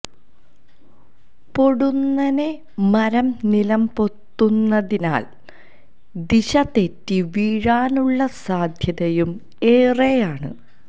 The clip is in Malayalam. പൊടുന്നനെ മരം നിലംപൊത്തുന്നതിനാല് ദിശ തെറ്റി വീഴാനുള്ള സാധ്യതയും ഏറെയാണ്